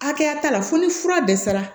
Hakɛya t'a la fo ni fura dɛsɛra